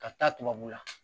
Ka taa tubabula